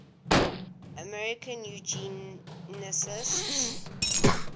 american eugenicists